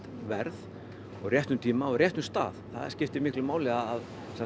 verð og á réttum tíma og á réttum stað það skiptir miklu máli að